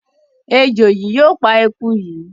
Ejò yìí yóò pa eku yìí.